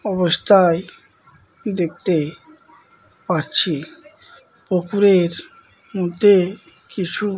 অবস্থায় দেখতে পাচ্ছি পুকুরের মধ্যে কিছু --